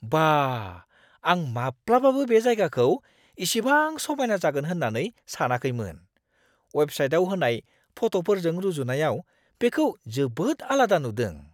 बा! आं माब्लाबाबो बे जायगाखौ इसिबां समायना जागोन होन्नानै सानाखैमोन। अवेबसाइटआव होनाय फट'फोरजों रुजुनायाव बेखौ जोबोद आलादा नुदों।